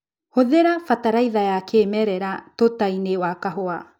Hũthĩra bataraitha ya kĩmerera tutainĩ wa kahũa.